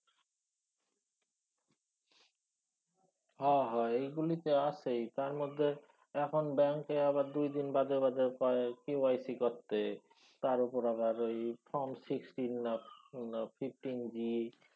হ হ এইগুলি তো আসেই। তারমধ্যে অহন ব্যাঙ্কে আবার দুই দিন বাদে বাদে কয় KYC করতে। তার উপর আবার form sixteen না fifteen D